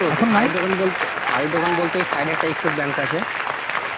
শাড়ির দোকান বলতে ঐ side এ একটা axis bank আছে,